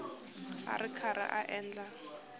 a ri karhi a endla